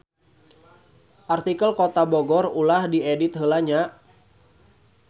Artikel Kota Bogor ulah diedit heula nya.